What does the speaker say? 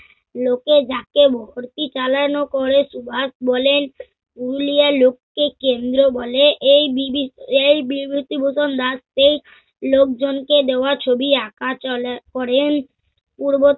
লোকে যাকে ভর্তি চালনা করে সুভাষ বলেন হুলিয়া লোককে কেন্দ্র বলে এই বিভি~ এই বিভূতিভূষণ দাস সেই লোকজনকে দেওয়া ছবি আঁকা চলে~ করেন। পূর্ব-